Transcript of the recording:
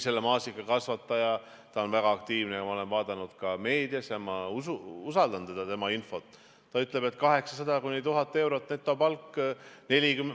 See maasikakasvataja on väga aktiivne , ta ütles, et 800–1000 eurot on netopalk.